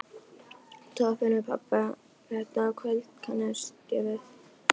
Tvo af félögum pabba þetta kvöld kannaðist ég við.